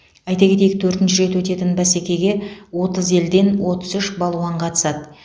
айта кетейік төртінші рет өтетін бәсекеге отыз елден отыз үш балуан қатысады